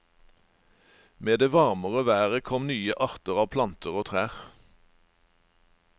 Med det varmere været kom nye arter av planter og trær.